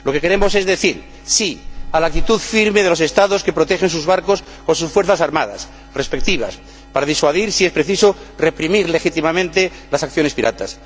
Lo que queremos es decir sí a la actitud firme de los Estados que protegen sus barcos con sus fuerzas armadas respectivas para disuadir y, si es preciso, reprimir legítimamente las acciones piratas.